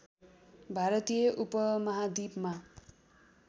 भारतीय उपमहाद्विपमा